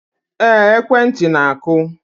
Ee, ekwentị na-akụ